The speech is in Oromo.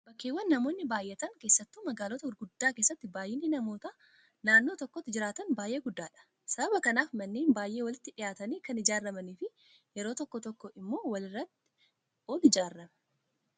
Bakkeewwan namoonni baay'atan keessattuu magaalota gurguddaa keessatti baay'inni namoota naannoo tokko jiraatanii baay'ee guddaadha. Sababa kanaaf manneen baay'ee walitti dhiyaatanii kan ijaaramanii fi yeroo tokko tokko immoo walirratti ol ijaarame.